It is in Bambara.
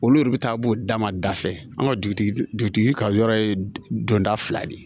Olu yɛrɛ bɛ taa b'o dama da fɛ an ka dugutigi ka yɔrɔ ye don da fila de ye